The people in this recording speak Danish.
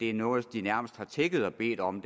er noget de nærmest har tigget og bedt om